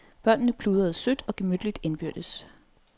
Børnene pludrede sødt og gemytligt indbyrdes.